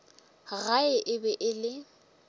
gae e be e le